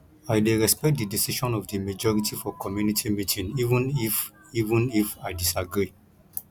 i dey respect di decision of di majority for community meeting even if even if i disagree